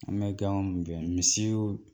An bɛ ga gɛn misiw